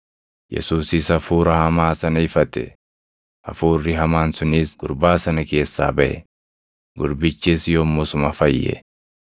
Yesuusis hafuura hamaa sana ifate; hafuurri hamaan sunis gurbaa sana keessaa baʼe; gurbichis yommusuma fayye.